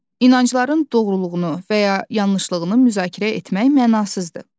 İnancaların doğruluğunu və ya yanlışlığını müzakirə etmək mənasızdır.